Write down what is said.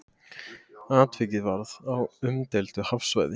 Atvikið varð á umdeildu hafsvæði